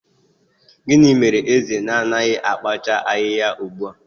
Gịnị mere eze na-anaghị akpacha ahịhịa ugbu a?